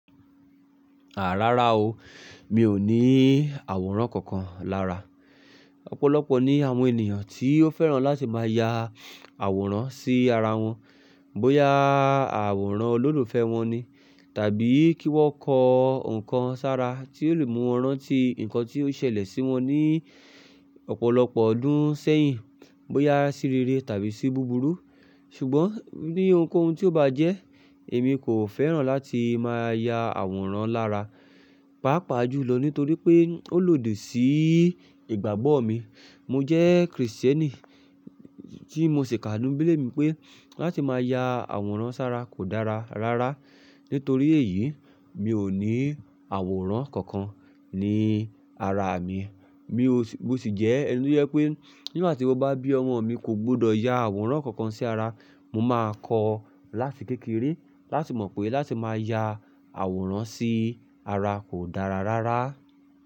Àá rárá o, mi ò ní àwòrán kankan lára. Ọ̀pọ̀lọpọ̀ ní àwọn ènìyàn tí ó fẹ́ràn láti máa ya àwòrán sí ara wọn. Bóyá àwòrán olólùfẹ́ wọn ni, tàbí kí wọ́n kọ ǹkan sára tí ó lè mú wọn rántí ǹkan tí ó ṣẹlẹ̀ sí wọn ní ọ̀pọ̀lọpọ̀ ọdún sẹ́yìn. Bóyá sí rere tàbí sí búburú. Ṣùgbọ́n ní ohunkóhun tí ó bá jẹ́, èmi kò fẹ́ràn láti máa ya àwòrán lára. Pápa jùlọ nítorí pé ó lòdì sí ìgbàgbọ́ mi. Mo jẹ́ Kristẹni tí mo ṣèkà ní bíbélì mi pé láti máa ya àwòrán sára kò dára rárá. Nítorí èyí, mi ò ní àwòrán kankan ní ara mi. Mio-- mo sì jẹ́ ẹni tó je pé nígbà tí mo bá bí ọmọ mi, kò gbọdọ̀ ya àwòrán kankan sí ara. Mo máa kọ̀ ọ́ láti kékeré láti mọ̀ pé láti máa ya àwòrán sí ara kò dára rárá.